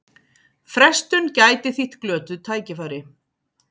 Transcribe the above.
Frestun gæti þýtt glötuð tækifæri